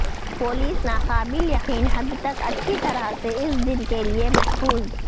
police ناقابل یقین حد تک اچھی طرح سے اس دن کے لئے محفوظ